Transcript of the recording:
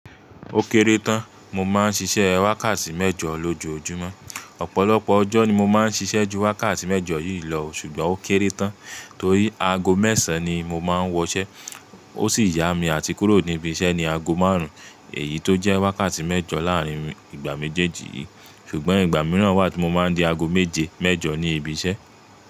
Ó kéré tán, mo máa ń ṣiṣẹ́ wákàtí mẹ́jọ lójoojúmọ́. Ọ̀pọ̀lọpọ̀ ọjọ́ ni mo máa ń ṣiṣẹ́ ju wákàtí mẹ́jọ yìí lọ, ṣùgbọ́n ó kéré tán torí aago mẹ́sàn-án ni mo máa ń wọ'ṣẹ́. Ó sì yá mi àti kúrò ní ibi iṣẹ́ ní aago márùn-ún èyí tó jẹ́ wákàtí mẹ́jọ láàárín ìgbà méjèèjì yìí. Ṣùgbọ́n ìgbà mìíràn wà tí mo máa ń di ago méje mẹ́jọ ní ibi iṣẹ́.